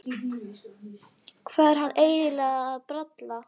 Hvað var hann eiginlega að bralla?